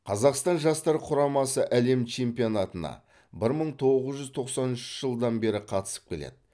қазақстан жастар құрамасы әлем чемпионатына бір мың тоғыз жүз тоқсан үшінші жылдан бері қатысып келеді